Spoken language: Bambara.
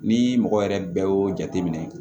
Ni mɔgɔ yɛrɛ bɛɛ y'o jateminɛ